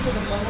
Nə oldu?